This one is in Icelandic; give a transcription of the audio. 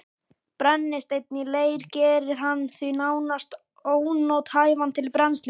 Brennisteinn í leir gerir hann því nánast ónothæfan til brennslu.